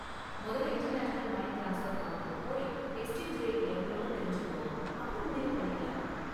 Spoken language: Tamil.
மொதல்ல இன்டர்நேஷனல் மனி ட்ரான்ஸ்பர் கவுண்டருக்கு போய் எக்ஸ்சேஞ்ச் ரேட் எவ்ளோன்னு தெரிஞ்சுக்கோ, அப்பறம் முடிவு பண்ணிக்கலாம்.